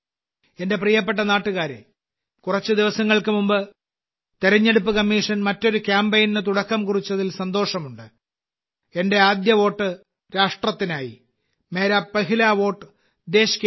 എന്റെ പ്രിയപ്പെട്ട നാട്ടുകാരേ കുറച്ച് ദിവസങ്ങൾക്ക് മുമ്പ് തിരഞ്ഞെടുപ്പ് കമ്മീഷൻ മറ്റൊരു കാമ്പയിന് തുടക്കം കുറിച്ചതിൽ സന്തോഷമുണ്ട് എന്റെ ആദ്യ വോട്ട് രാഷ്ട്രത്തിനായി മേരാ പെഹ്ല വോട്ട് ദേശ് കേലിയേ